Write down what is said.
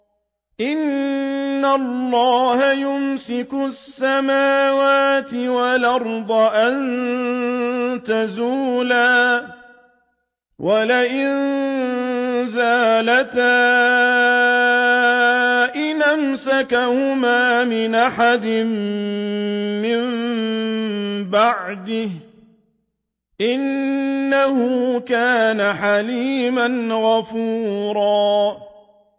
۞ إِنَّ اللَّهَ يُمْسِكُ السَّمَاوَاتِ وَالْأَرْضَ أَن تَزُولَا ۚ وَلَئِن زَالَتَا إِنْ أَمْسَكَهُمَا مِنْ أَحَدٍ مِّن بَعْدِهِ ۚ إِنَّهُ كَانَ حَلِيمًا غَفُورًا